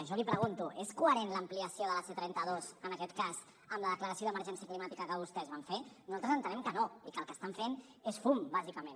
jo li pregunto és coherent l’ampliació de la c trenta dos en aquest cas amb la declaració d’emergència climàtica que vostès van fer nosaltres entenem que no i que el que estan fent és fum bàsicament